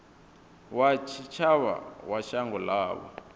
wa tshitshavha wa shango ḽavho